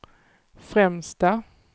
främsta